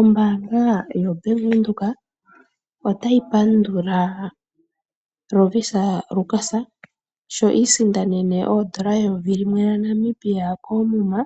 Ombaanga yoBank Windhoek otayi pandula Lovisa yaLukas sho iisindanena oondola eyovi limwe lyaNamibia koomuma